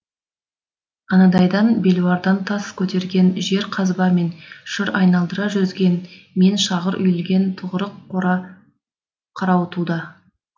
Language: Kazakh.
анадайда белуардан тас көтерген жер қазба мен шыр айналдыра жүзген мен шағыр үйілген тығырық қора қарауытуда